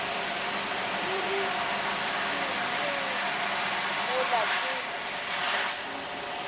ruri ke neng mola ke